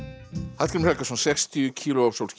Hallgrímur Helgason sextíu kíló af sólskini